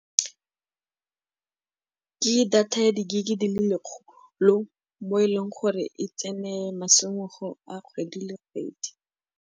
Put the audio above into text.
Ke data ya di-gig-i di le lekgolo mo e leng gore e tsene masimologo a kgwedi le kgwedi.